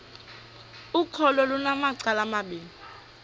ukholo lunamacala amabini